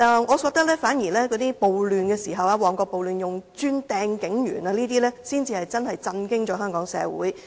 我反而覺得，在旺角暴亂中用磚頭擲向警員等行為，才真的震驚香港社會。